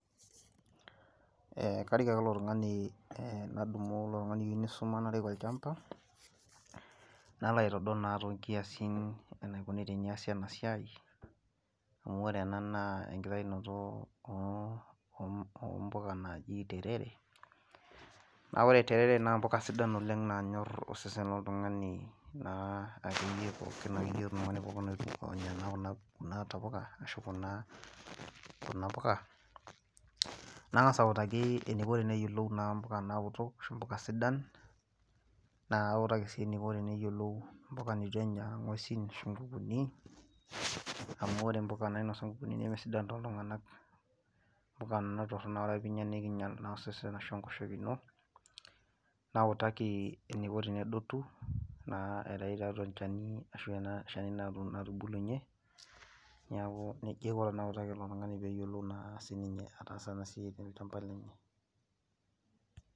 Karik ake ilo tungani ,nadumu ilo tungani iyieu neisuma narik olchampa nalo aitodol naa toonkiasin enaikoni teneasi ena siai, amu ore ena naa enkitainoto ompuka naaji terere, naa ore terere naa mbuka nanyor osesen loltungani pookin akeyie kuna puka ,nangas autaki naa eniko teneyiolou mbuka naoto ashu mbuka sidan naa kautaki sii mbuka neitu enya ngwesin ashu nkukuni amu ore mpuka nainosa ngwesin nemesidai tooltunganak ,amu mpuka Nena naa teninya nikinyel osesen ashu enkoshoke ,nautaki eneiko tenedotu naa aitayu naa tiatua olchani ashu ena shani natubulunye neeku nejia aiko teneutaki ele tungani enasiai pee eyiolou ataasa ena siai siininye tolchampa lenye.